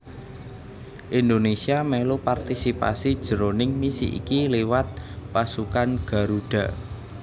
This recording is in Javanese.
Indonésia mèlu partisipasi jroning misi iki liwat Pasukan Garuda